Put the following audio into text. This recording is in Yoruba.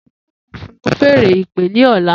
Emi yoo fun fèèrè ìpè ni ọla.